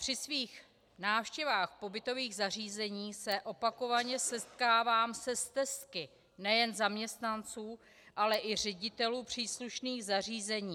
Při svých návštěvách pobytových zařízení se opakovaně setkávám se stesky nejen zaměstnanců, ale i ředitelů příslušných zařízení.